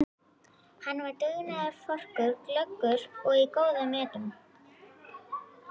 Hann var dugnaðarforkur, glöggur og í góðum metum.